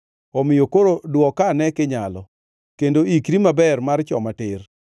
Omiyo koro dwoka ane kinyalo; kendo iikri maber mar choma tir.